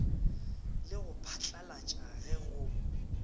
le go phatlalatša ge go